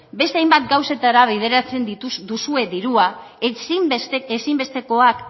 beste hainbat gauzetara bideratzen duzue dirua ezinbestekoak